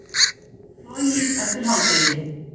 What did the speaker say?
Flogið eftir hádegi